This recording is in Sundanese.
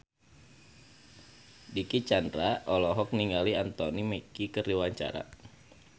Dicky Chandra olohok ningali Anthony Mackie keur diwawancara